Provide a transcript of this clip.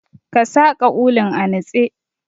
Ka saƙa ulun a nutse.